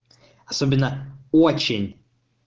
особенно очень